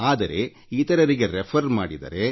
ಆದರೆ ಇತರರಿಗೆ ರೆಫರ್ ಮಾಡಿದರೆ